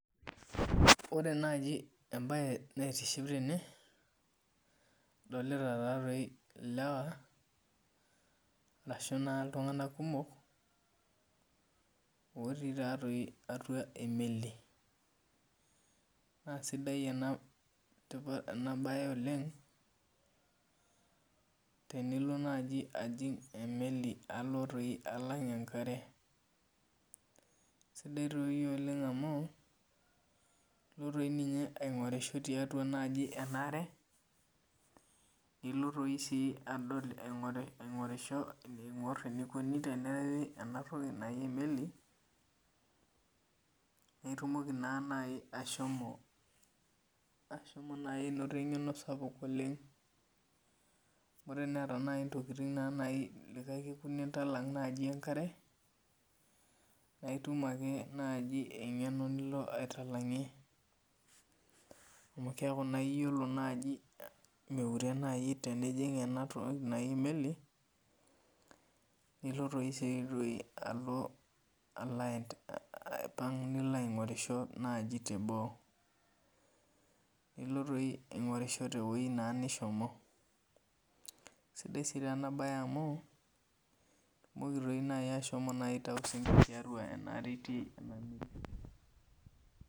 Ore naji embae naitiship tene adolta lewa ashu ltunganak kumok otii taatoi atua emeli na sidai enabae oleng tenilo nai ajing emeli alo alang enkare sidai nai amu ilo aingurisho tiatua enkare nilo adol aingorisho eniko tenerewi enatoki naji emeli nitumoki nai ashomo ainoto engenosapuk oleng amu teneeta nai ntokitin nintalang enkare na itum nai engeno nilo aitalangie amu keaku nai iyiolo nai miure nai enijing enatoki naji emeli nilo nai alo aipang nilobaingorisho teboo nilo aingorisho twoi nishomo. sidai enabae amu ilo nai aingorisho.